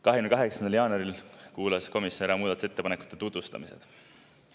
28. jaanuaril kuulas komisjon ära muudatusettepanekute tutvustused.